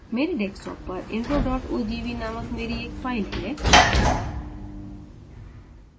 मेरे desktop पर intro ogv नामक मेरी एक फ़ाइल है